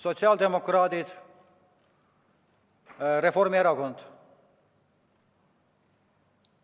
Sotsiaaldemokraadid ja Reformierakond.